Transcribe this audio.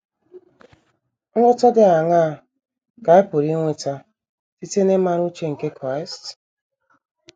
Nghọta dị aṅaa ka anyị pụrụ inweta site n’ịmara uche nke Kraịst?